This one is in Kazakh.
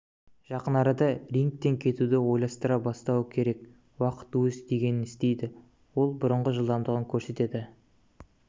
жақын арада рингтен кетуді ойластыра бастауы керек уақыт өз дегенін істейді ол бұрынғы жылдамдығын көрсете